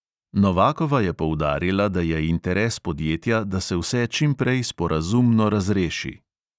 Novakova je poudarila, da je interes podjetja, da se vse čim prej sporazumno razreši.